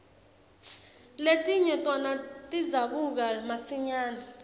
letinye tona tidzabuka masinyane